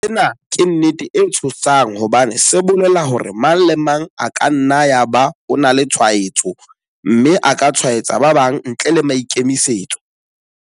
Sena ke nnete e tshosang hobane se bolela hore mang le mang e ka nna ya ba o na le tshwaetso mme a ka tshwaetsa ba bang ntle le maikemisetso.